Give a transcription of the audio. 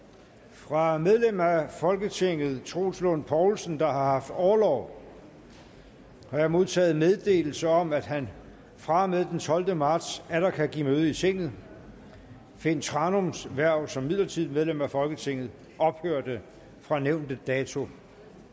fra medlem af folketinget troels lund poulsen der har haft orlov har jeg modtaget meddelelse om at han fra og med den tolvte marts atter kan give møde i tinget finn thranums hverv som midlertidigt medlem af folketinget ophørte fra nævnte dato